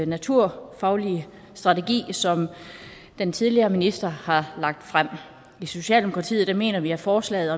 naturfaglige strategi som den tidligere minister har lagt frem i socialdemokratiet mener vi at forslaget